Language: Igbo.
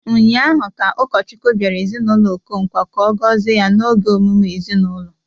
Ụnyahụ ka ụkọchukwu bịara ezinaụlọ Okonkwo ka ọ gọzie ya n'oge emume ezinaụlọ.